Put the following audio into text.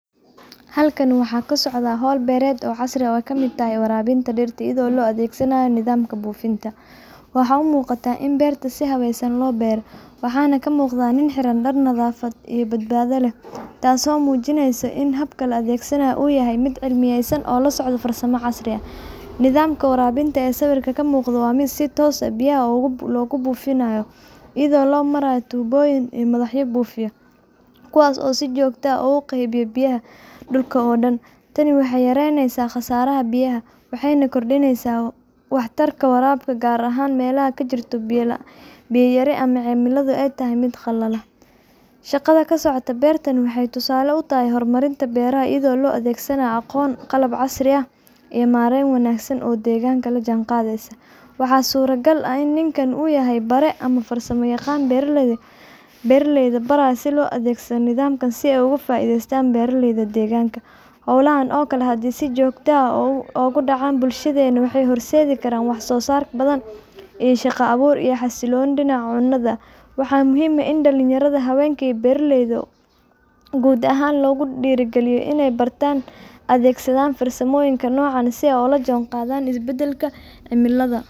Halkani waxaa ka socota hol beereed oo kamiid tahay warabinta dirta iyo bufinta, waxaa kamiid ah in beerta si fican lo beero waxana ka muqdaa nin xiran dar nadhafaad badbada leh, nidhamka warabintee ee miqdaa waa miid si dab lo bufinaya, kuwas oo si jogto ah ogu qeeybiya dulka, shaqadha kasocoto beerta waxee hor marin u tahay shaqaada beera tas oo ah maren fican oo deganka la jihan qadheysa waxaa surta gal ah in ninkan u yahay bare ama farsama aqan barayo beera leyda si ee oga faideystan xolaha, waxaa muhiim dan yaradha iyo beera leyda athegsadan farsamoyin ka nocan si ee ola jihan qadhan isbadalka cimilaada.